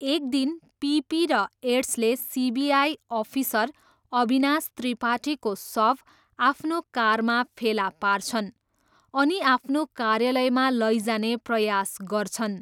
एक दिन पिपी र एड्सले सिबिआई अफिसर अविनाश त्रिपाठीको शव आफ्नो कारमा फेला पार्छन् अनि आफ्नो कार्यालयमा लैजाने प्रयास गर्छन्।